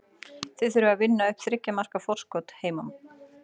Þið þurfið að vinna upp þriggja marka forskot heima.